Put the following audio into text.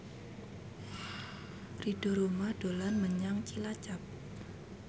Ridho Roma dolan menyang Cilacap